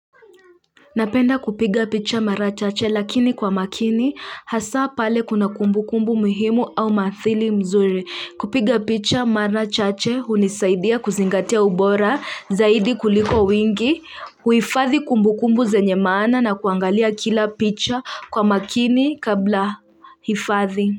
Napenda kupiga picha mara chache lakini kwa makini hasa pale kuna kumbu kumbu muhimu au mathili mzuri kupiga picha mara chache hunisaidia kuzingatia ubora zaidi kuliko wingi huifadhi kumbu kumbu zenye maana na kuangalia kila picha kwa makini kabla hifathi.